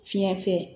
Fiɲɛ fɛ